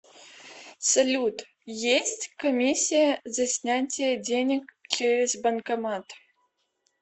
салют есть комиссия за снятие денег через банкомат